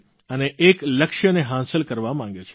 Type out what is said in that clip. અને એક લક્ષ્યને હાંસલ કરવા માંગે છે